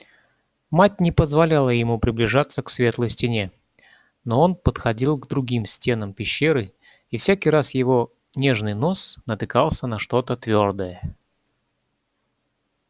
мать не позволяла ему приближаться к светлой стене но он подходил к другим стенам пещеры и всякий раз его нежный нос натыкался на что то твёрдое